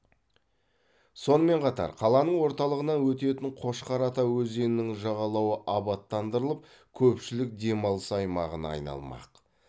сонымен қатар қаланың орталығынан өтетін қошқар ата өзенінің жағалауы абаттандырылып көпшілік демалыс аймағына айналмақ